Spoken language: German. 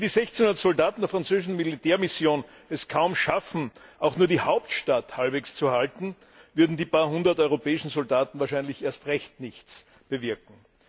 Wenn die 1600 Soldaten der französischen Militärmission es kaum schaffen, auch nur die Hauptstadt halbwegs zu halten, würden die paar Hundert europäischen Soldaten wahrscheinlich erst recht nichts bewirken.